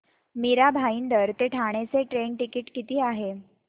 मीरा भाईंदर ते ठाणे चे train ticket किती आहे